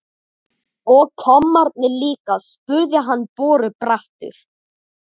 Og kommarnir líka? spurði hann borubrattur.